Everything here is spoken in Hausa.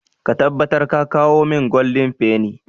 Ka tabbatar ka kawo min goldin feni!